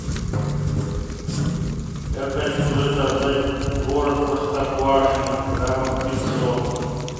я хочу заказать творог простоквашино граммов пятьсот